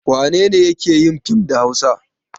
Wane ne yake yin fim da Hausa?